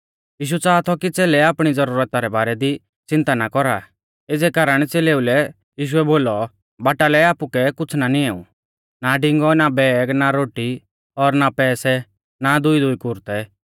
यीशु च़ाहा थौ कि च़ेलै आपणी ज़ुरता रै बारै दी च़िन्ता ना कौरा एज़ै कारण च़ेलेऊ लै यीशुऐ बोलौ बाटा लै आपुकै कुछ़ ना निएऊ ना डिंगौ ना बैग ना रोटी और ना पैसै ना दुईदुई कुरतै